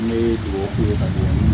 N bɛ dugawu k'u ye ka d'u ye